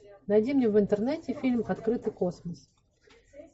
найди мне в интернете фильм открытый космос